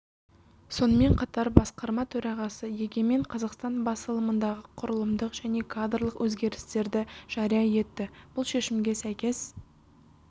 сонымен қатар басқарма төрағасы егемен қазақстан басылымындағы құрылымдық және кадрлық өзгерістерді жария етті бұл шешімге сәйкес